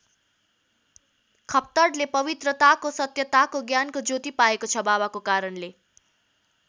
खप्तडले पवित्रतताको सत्यताको ज्ञानको ज्योति पाएको छ बाबाका कारणले।